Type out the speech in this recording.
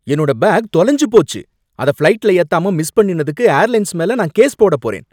என்னோட பேக் தொலைஞ்சு போச்சு. அத ஃப்ளைட்ல ஏத்தாம மிஸ் பண்ணினதுக்கு ஏர்லைன்ஸ் மேல நான் கேஸ் போடப் போறேன்.